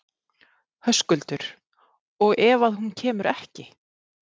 Höskuldur: Og ef að hún kemur ekki?